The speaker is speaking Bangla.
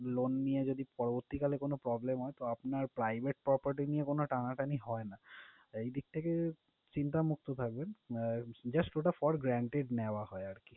Loan নিয়ে যদি পরবর্তীকালে কোনো problem হয় তো আপনার private property নিয়ে কোনো টানাটানি হয় না। এই দিক থেকে চিন্তা মুক্ত থাকবেন, আহ just ঐটা for guaranteed নেওয়া হয় আরকি।